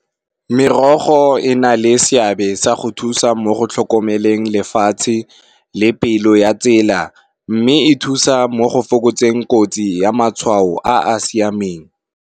Merogo e na le seabe sa go thusa mo go tlhokomeleng lefatshe le pelo ya tsela, mme e thusa mo go fokotseng kotsi ya matshwao a a siameng.